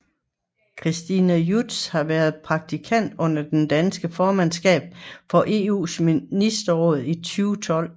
Christina Judson har været praktikant under det danske formandskab for EUs ministerråd i 2012